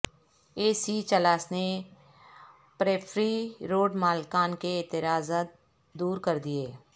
اے C Chilas نے periphery road مالکان کے اعتراضات دورکردئیے